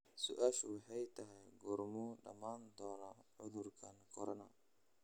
su'aashu waxay tahay goormuu dhamaan doonaa cudurkan corona?